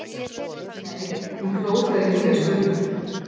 Nei, hún hló þegar Júlía spurði.